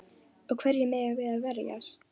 Og hverjum eigum við að verjast?